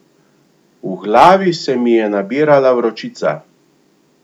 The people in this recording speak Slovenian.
V glavi se mi je nabirala vročica.